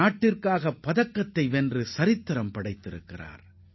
நாட்டிற்காக பதக்கம் வென்று அவர் வரலாறு படைத்துள்ளார்